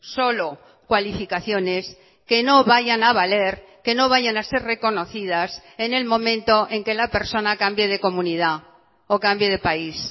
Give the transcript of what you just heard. solo cualificaciones que no vayan a valer que no vayan a ser reconocidas en el momento en que la persona cambie de comunidad o cambie de país